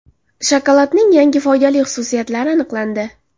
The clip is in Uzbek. Shokoladning yangi foydali xususiyatlari aniqlandi.